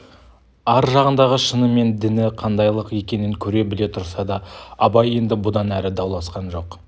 ар жағындағы шыны мен діні қандайлық екенін көре-біле тұрса да абай енді бұдан әрі дауласқан жоқ